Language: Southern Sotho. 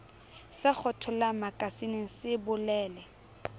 se kgethollang makasineng se bolele